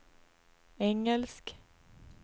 engelsk